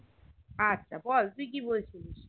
আচ্ছা বল তুই কি বলছিলিস